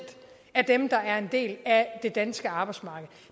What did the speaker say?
af dem der er en del af det danske arbejdsmarked